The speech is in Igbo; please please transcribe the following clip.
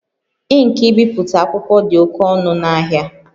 Ink ibipụta akwụkwọ dị oke ọnụ n'ahịa